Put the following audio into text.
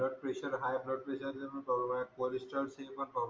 blood pressure high blood प्रेशरच पण problem आहेत